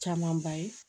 Camanba ye